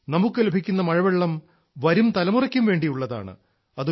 നമുക്ക് ലഭിക്കുന്ന മഴവെള്ളം വരും തലമുറയ്ക്കും വേണ്ടിയുള്ളതാണ്